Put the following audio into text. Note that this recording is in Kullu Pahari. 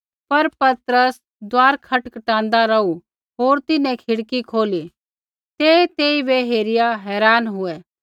पर पतरस दुआर खटखटाँदा रौहू होर तिन्हैं खिड़की खोली ते तेइबै हेरिआ हैरान हुऐ